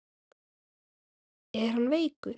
Er hann veikur?